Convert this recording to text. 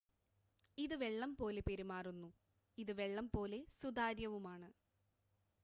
ഇത് വെള്ളം പോലെ പെരുമാറുന്നു ഇത് വെള്ളം പോലെ സുതാര്യവുമാണ്